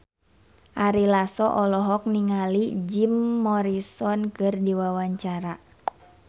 Ari Lasso olohok ningali Jim Morrison keur diwawancara